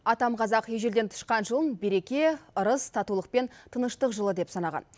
атам қазақ ежелден тышқан жылын береке ырыс татулық пен тыныштық жылы деп санаған